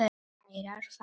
Kærar þakkir